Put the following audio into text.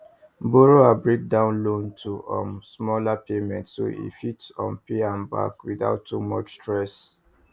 borrower break down loan to um smaller payments so e fit um pay am back without too much stress